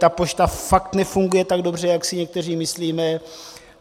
Ta pošta fakt nefunguje tak dobře, jak si někteří myslíme.